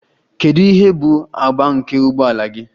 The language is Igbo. Kedu ihe bụ agba nke ụgbọ ala gị?